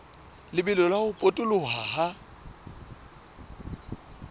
lebelo la ho potoloha ha